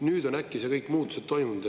Nüüd on äkki kõik muutused toimunud.